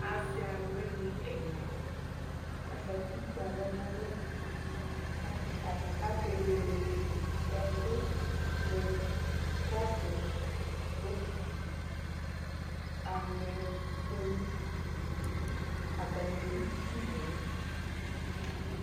Asɩ alʋwɩnɩ ɛla, azati kpe alɔ nʋ alɛ Ake akewele ɛkʋ mʋ kɔpʋ, bokiti, aŋɛ kpolu Atanɩ ewu duku nʋ ɛlʋ